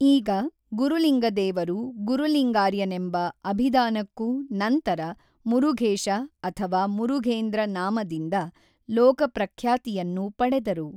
ಈಗ ಗುರುಲಿಂಗದೇವರು ಗುರುಲಿಂಗಾರ್ಯನೆಂಬ ಅಭಿದಾನಕ್ಕೂ ನಂತರ ಮುರುಘೕಶ ಅಥವಾ ಮುರುಘೕಂದ್ರ ನಾಮದಿಂದ ಲೋಕಪ್ರಖ್ಯಾತಿಯನ್ನು ಪಡೆದರು.